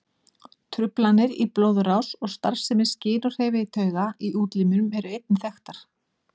Truflanir í blóðrás og starfsemi skyn- og hreyfitauga í útlimum eru einnig vel þekktar.